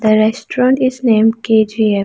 the restaurant is name K_G_F.